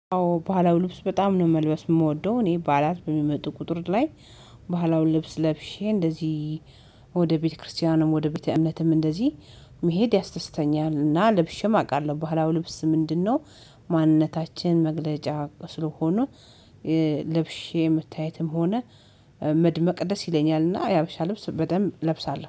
ባህላው ልብስ በጣም ነው መልበስ የምወደው። እኔ በዓላት በሚመጡ ቁጥር ላይ ባህላውን ልብስ ለብሼ እንደዚህ ወደ ቤተክርስቲያንም ወደ ቤተአምነትም እንደዚህ መሄድ ያስተስተኛልና ለብሼም አውቃለሁ። ባህላው ልብስ ምንድነው? ማንነታችን መግለጫ ስለሆኑ። ልብሼ መታየትም ሆነ መድመ ቅደስ ይለኛልና የሀበሻ ልብስ በደንብ እለብሳለሁ